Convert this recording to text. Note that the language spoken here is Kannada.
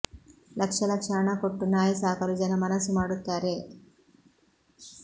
ಲಕ್ಷ ಲಕ್ಷ ಹಣ ಕೊಟ್ಟು ನಾಯಿ ಸಾಕಲು ಜನ ಮನಸ್ಸು ಮಾಡುತ್ತಾರೆ